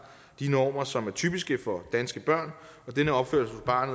de normer som er typiske for danske børn denne opførsel fra